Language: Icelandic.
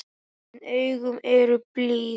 En augun eru blíð.